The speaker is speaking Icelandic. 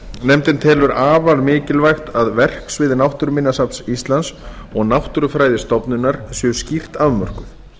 nefndin telur afar mikilvægt að verksvið náttúruminjasafns íslands og náttúrufræðistofnunar séu skýrt afmörkuð